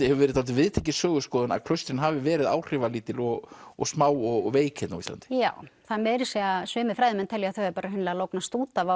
hefur verið dálítið viðtekin söguskoðun að klaustrin hafi verið áhrifalítil og og smá og veik hérna á Íslandi já meira að segja sumir fræðimenn telja að þau hafi bara hreinlega lognast út af